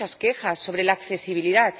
habido muchas quejas sobre la accesibilidad.